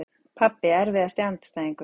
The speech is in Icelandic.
Pabbi Erfiðasti andstæðingur?